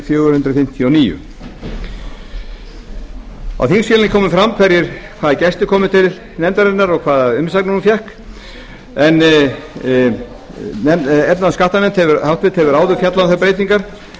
fjögur hundruð fimmtíu og níu á þingskjalinu kemur fram hvaða gestir komu til nefndarinnar og hvaða umsagnir hún fékk efnahags og skattanefnd hefur áður fjallað um þær breytingar